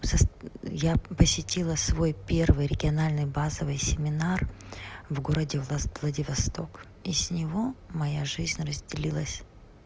я посетила свой первый региональный базовый семинар в городе владивосток и с него моя жизнь разделилась